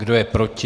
Kdo je proti?